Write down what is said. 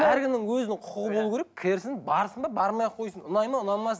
әркімнің өзінің құқығы болуы керек кірсін барсын да бармай ақ қойсын ұнайды ма ұнамасын